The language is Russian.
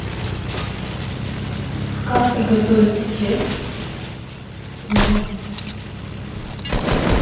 как приготовить кекс дома